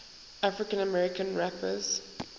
african american rappers